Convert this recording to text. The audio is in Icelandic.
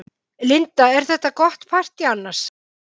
Linda: Er þetta gott partý annars?